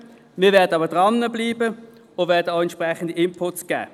Wir bleiben dran und werden Inputs geben.